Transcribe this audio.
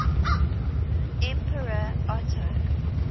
emperor otto